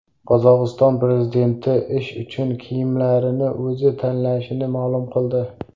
Qozog‘iston prezidenti ish uchun kiyimlarini o‘zi tanlashini ma’lum qildi.